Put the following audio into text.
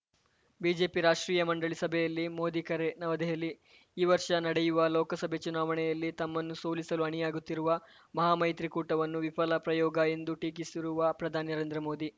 BJP ರಾಷ್ಟ್ರೀಯ ಮಂಡಳಿ ಸಭೆಯಲ್ಲಿ ಮೋದಿ ಕರೆ ನವದೆಹಲಿ ಈ ವರ್ಷ ನಡೆಯುವ ಲೋಕಸಭೆ ಚುನಾವಣೆಯಲ್ಲಿ ತಮ್ಮನ್ನು ಸೋಲಿಸಲು ಅಣಿಯಾಗುತ್ತಿರುವ ಮಹಾಮೈತ್ರಿಕೂಟವನ್ನು ವಿಫಲ ಪ್ರಯೋಗ ಎಂದು ಟೀಕಿಸಿರುವ ಪ್ರಧಾನಿ ನರೇಂದ್ರ ಮೋದಿ